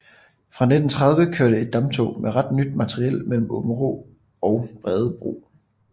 Fra 1930 kørte et damptog med ret nyt materiel mellem Aabenraa og Bredebro